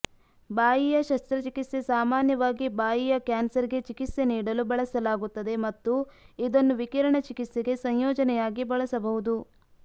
ಬಾಯಿಯ ಶಸ್ತ್ರಚಿಕಿತ್ಸೆ ಸಾಮಾನ್ಯವಾಗಿ ಬಾಯಿಯ ಕ್ಯಾನ್ಸರ್ಗೆ ಚಿಕಿತ್ಸೆ ನೀಡಲು ಬಳಸಲಾಗುತ್ತದೆ ಮತ್ತು ಇದನ್ನು ವಿಕಿರಣ ಚಿಕಿತ್ಸೆಗೆ ಸಂಯೋಜನೆಯಾಗಿ ಬಳಸಬಹುದು